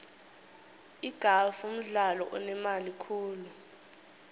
igalfu mdlalo onemali khulu